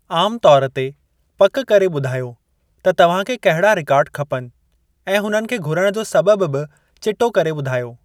आम तौरु ते, पक करे ॿुधायो त तव्हांखे कहिड़ा रिकॉर्ड खपनि ऐं हुननि खे घुरण जो सबबि बि चिटो करे ॿुधायो।